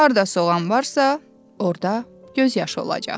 Harda soğan varsa, orda göz yaşı olacaq.